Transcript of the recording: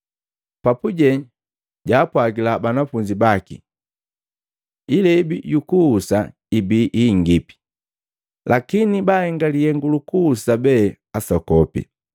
Papuje jaapwagila banafunzi baki, “Ilebii yukuhusa ibii hingipi lakini baahenga lihengu lukuhusa be asokopi.